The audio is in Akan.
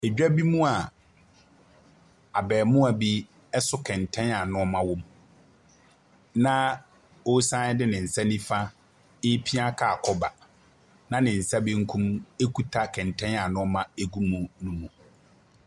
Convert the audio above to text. Dwa bi mu a abaamua bi so kɛntɛn a nneɛma wom, na ɔresan de ne nsa nifa repia kaa kɔba, na ne nsa benkum kita kɛntɛn a nneɛma gu mu no mu.